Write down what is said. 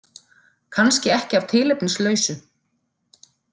Kannski ekki af tilefnislausu.